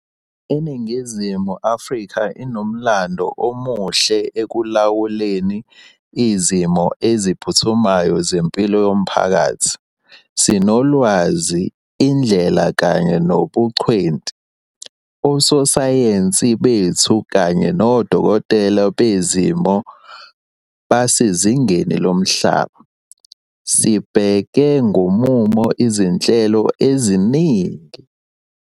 INingizimu Afrika inomlando omuhle ekulawuleni izimo eziphuthumayo zempilo yomphakathi. Sinolwazi, indlela kanye nobungcweti. Ososayensi bethu kanye nodokotela bezifo basezingeni lomhlaba. Sibeke ngomumo izinhleloeziningi zokubhekana nalesi simo esiphuthumayo, futhi sizohlinzeka ngosizomali ukweseka ukuqaliswa kwazo.